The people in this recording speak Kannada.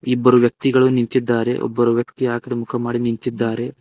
ಇಬ್ಬರು ವ್ಯಕ್ತಿಗಳು ನಿಂತಿದ್ದಾರೆ ಒಬ್ಬರು ವ್ಯಕ್ತಿ ಆ ಕಡೆ ಮುಖ ಮಾಡಿ ನಿಂತಿದ್ದಾರೆ.